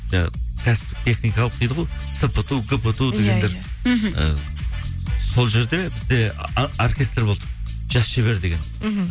кәсіптік техникалық дейді ғой мхм і сол жерде бізде оркестр болды жас шебер деген мхм